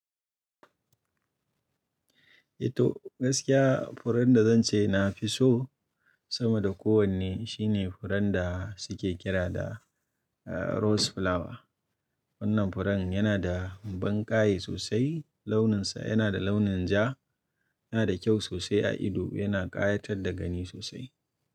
Eh to gaskiya furen da zan ce na fi so sama da kowanne shine furen da suke kira da rose flower. Wannan furen yana da banƙaye sosai, launinsa yana da launin ja, yana da kyau sosai a ido, yana ƙayatar da gani sosai.